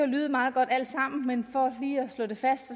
lyde meget godt men for lige at slå det fast